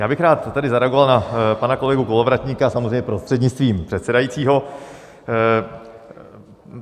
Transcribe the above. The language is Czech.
Já bych tady rád zareagoval na pana kolegu Kolovratníka, samozřejmě prostřednictvím předsedajícího.